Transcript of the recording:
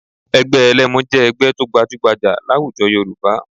Ẹgbẹ́ ẹlẹ́mu jẹ́ ẹgbẹ́ tó gbajúgbajà láwùjọ Yorùbá